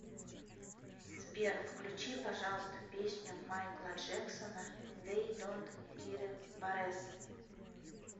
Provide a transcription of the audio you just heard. сбер включи пожалуйста песню майкла джексона дей донт кире барес